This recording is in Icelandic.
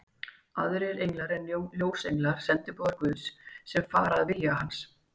Aðrir englar eru ljósenglar, sendiboðar Guðs, sem fara að vilja hans.